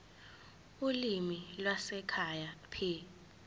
ulimi lwasekhaya p